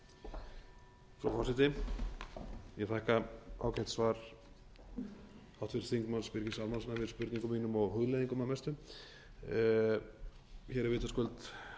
frú forseti ég þakka ágætt svar háttvirts þingmanns birgis ármannssonar við spurningum mínum og hugleiðingum að mestu hér er vitaskuld